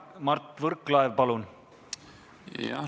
Mart Võrklaev, palun!